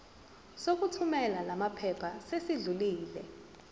sokuthumela lamaphepha sesidlulile